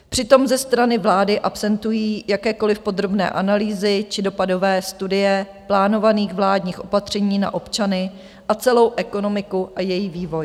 Přitom ze strany vlády absentují jakékoli podrobné analýzy či dopadové studie plánovaných vládních opatření na občany a celou ekonomiku a její vývoj.